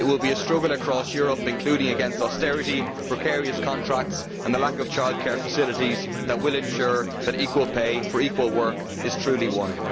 It will be a struggle across Europe, including against austerity, precarious contracts and the lack of childcare facilities, which will ensure that equal pay for equal work is truly won.